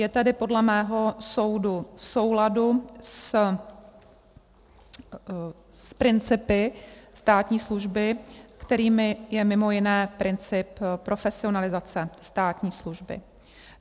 Je tedy podle mého soudu v souladu s principy státní služby, kterými je mimo jiné princip profesionalizace státní služby.